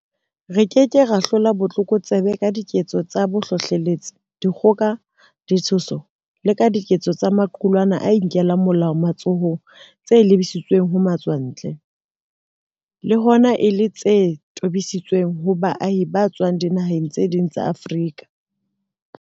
Re ke ke ra hlola botlokotsebe ka diketso tsa bohlohleletsi, dikgoka, ditshoso le ka diketso tsa maqulwana a inkelang molao matsohong tse lebisitsweng ho matswantle, le hona e le tse tobisitsweng ho baahi ba tswang dinaheng tse ding tsa Afrika.